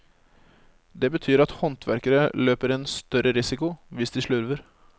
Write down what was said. Det betyr at håndverkere løper en større risiko hvis de slurver.